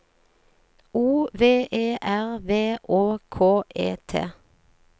O V E R V Å K E T